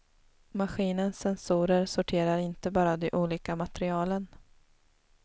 Maskinens sensorer sorterar inte bara de olika materialen.